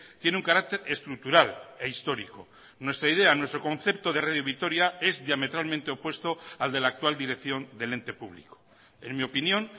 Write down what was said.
tiene un carácter estructural e histórico nuestra idea nuestro concepto de radio vitoria es diametralmente opuesto al de la actual dirección del ente público en mi opinión